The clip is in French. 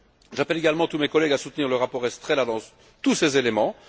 J'appelle également tous mes collègues à soutenir le rapport Estrela dans tous ses éléments.